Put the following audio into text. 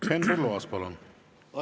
Henn Põlluaas, palun!